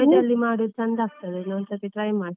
Cabbage ಅಲ್ಲಿ ಮಾಡುದು ಚೆಂದಾ ಆಗ್ತದೆ, ಒಂದ್ ಸತಿ try ಮಾಡಿ.